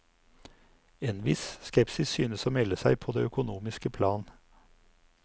En viss skepsis synes å melde seg på det økonomiske plan.